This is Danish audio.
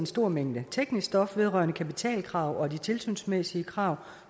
stor mængde teknisk stof vedrørende kapitalkrav og de tilsynsmæssige krav